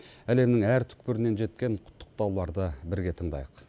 әлемнің әр түкпірінен жеткен құттықтауларды бірге тыңдайық